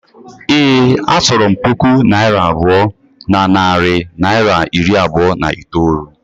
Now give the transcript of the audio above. Ee, a chọrọ m puku naira abụọ na narị naịra iri abụọ na itoolu